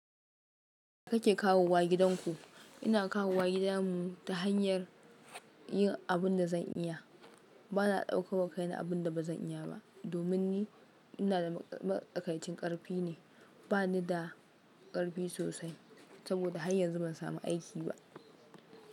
Kake kawo wa gidanku? Ina kawo wa gidan mu ta hanyar yin abun da zan iya. Bana ɗauko wa kaina abun da ba zan iya ba. Domin ni ina da matsakaicin ƙarfi ne, bani da ƙarfi sosai saboda har yanzu ban samu aiki ba.